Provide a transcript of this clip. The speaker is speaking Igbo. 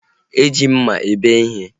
E ji mma ebe ihe